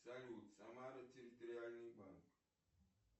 салют самара территориальный банк